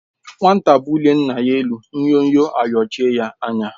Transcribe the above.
Nwata bulie nna ya elu, nnyọnyọ ayọchie ya anya